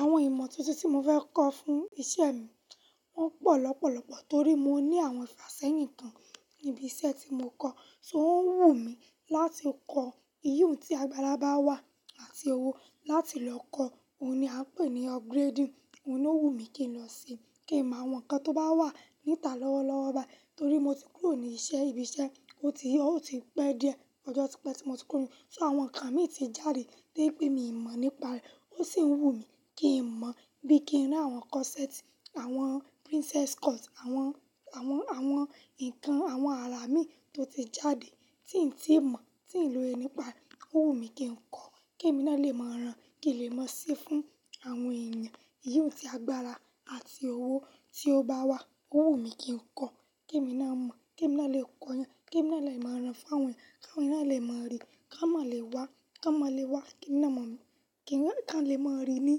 Àwọn ìmọ̀ tuntun tí mo fẹ́ kọ́ fún isẹ́ mi wọ́n pọ̀ lọ́pọ̀lọ́pọ̀ torí mo ní àwọn ifàsẹ́yin kan ní ibi iṣẹ́ tí mo kọ́, so o ń wù mí láti kọ, ìyùn tí agbára bá wà àti owó láti lọ kọ́, òun ni a ń pè ní upgrading, òun ló wù mí kí n lọ se sí, kí n mọ àwọn nǹkan tó bá wà níta lọ́wọ́ lọ́wọ́ bá, torí mo ti kúrò ní ibi iṣẹ́, ó ti pẹ́ díẹ̀, ọjọ́ tí pẹ́ tí mo ti kúrò, ṣò àwọn nǹkan mi ti jáde to je pé mi mọ̀ nípa rẹ̀, ó sì ń wù mí kí n mọ̀ bí kí n rí àwọn corset, àwọn princess cut, àwọn, àwọn, àwọn nǹkan, àwọn ara mi tó ti jáde tí n tí mọ̀, tí n lóye nípa re, ó wù mí kí n kọ́, kí èmi náà lè mọ ran, kí n lè máa ṣe fún àwọn èèyàn ìyùn tí agbára àti owó tí ó bá wà, ó wù mí kí n kọ́, kí èmi náà mọ̀, kí èmi náà lè kọ yàn, kí èmi náà lè mọ ran fún àwọn eeyan, kí awọ́n eeyan náà lè mọ rí, kí wọ́n máa lè wá, kí wọ́n máa lè wá kí ì náà mọ̀ mí, kí wọn lè mọ rí ní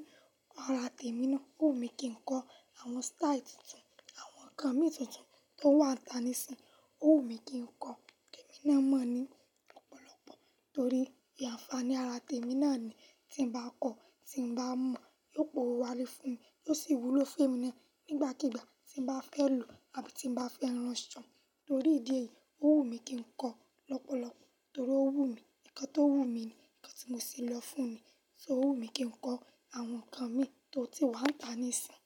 ara tèmi náà, ó wù mí kí n kọ́ àwọn style tuntun, àwọn nǹkan mi tuntun tó wà ntá nísìínyi, ó wù mí kí n kọ́, kí èmi náà mọ̀ ní ọ̀pọ̀lọpọ̀ torí anfaání ara tèmi náà ni tí n bá kọ́, tí n bá mọ̀ yóò pòwo wálé fún mi, yóò sì wúlò fún èmi náà nígbàkígbà tí n bá fẹ́ lò àbí tí n bá fẹ́ rán ṣán, torí ìdí èyí ó wù mí kí n kọ́ lọ́pọ̀lọpọ̀ torí ó wù mí, nǹkan tó wù mí ni, nǹkan tí mo sì lọ fún ni, ṣó wù mí kí n kọ́ àwọn nǹkan mi tó ti wà ntá nísìínyi.